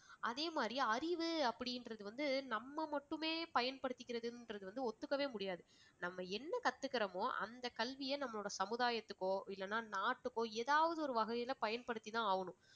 அதேமாதிரி அறிவு அப்படின்றது வந்து நம்ம மட்டுமே பயன்படுத்திக்கிறதுன்றது வந்து ஒத்துக்கவே முடியாது. நம்ம என்ன கத்துக்கறோமோ அந்த கல்வியை நம்ப நம்மளோட சமுதாயத்திற்க்கோ இல்லேன்னா நாட்டுக்கோ ஏதாவது ஒரு வகையில பயன்படுத்திதான் ஆகணும்